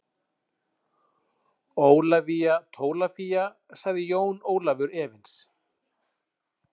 Ólafía Tólafía, sagði Jón Ólafur efins.